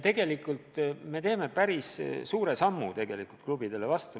Tegelikult me astume päris suure sammu klubidele vastu.